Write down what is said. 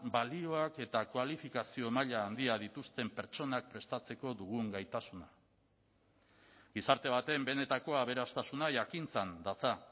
balioak eta kualifikazio maila handia dituzten pertsonak prestatzeko dugun gaitasuna gizarte baten benetako aberastasuna jakintzan datza